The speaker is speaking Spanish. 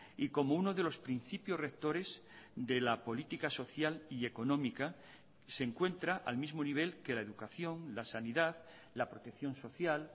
y como uno de los principios rectores de la política social y económica se encuentra al mismo nivel que la educación la sanidad la protección social